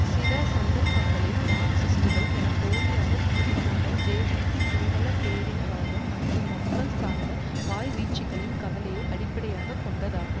சில சந்தர்ப்பங்களில் மார்க்சிஸ்டுகள் என போலியாக கூறி கொண்ட ஜேவிபி சிங்கள பேரினவாதம் மற்றும் மக்கள் சார்ந்த வாய்வீச்சுக்களின் கலவையை அடிப்படையாக கொண்டதாகும்